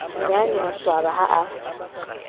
nnyane a swaba ha a